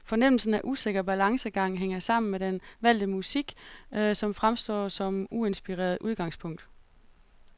Fornemmelsen af usikker balancegang hænger sammen med den valgte musik, som fremstår som uinspirerende udgangspunkt.